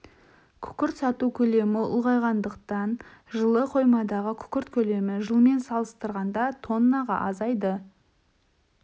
күкірт сату көлемі ұлғайғандықтан жылы қоймадағы күкірт көлемі жылмен салыстырғанда тоннаға азайды